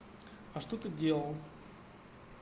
а что ты делал